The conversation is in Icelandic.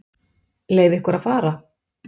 Leyfa ykkur að fara?